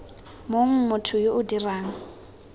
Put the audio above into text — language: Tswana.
mong motho yo o dirang